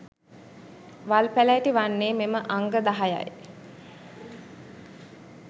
වල්පැළෑටි වන්නේ මෙම අංග දහයයි.